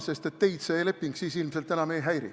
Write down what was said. Siis teid see leping ilmselt enam ei häiri.